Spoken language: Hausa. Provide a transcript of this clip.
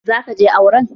Za ka je auren?